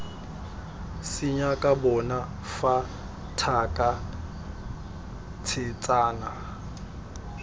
senyaka bona fa thaka tshetsana